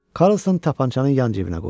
Karlson tapançanı yan cibinə qoydu.